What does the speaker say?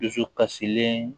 Dusukasilen